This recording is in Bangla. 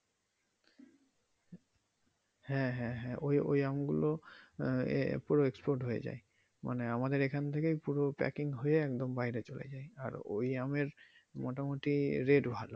হ্যা হ্যা হ্যা ওই আমগুলো আহ পুরো export হয়ে যায় মানে আমাদের এখান থেকে পুরো packing হয়ে একদম বাইরে চলে যায় আর ওই আমের মোটামুটি rate ভালো।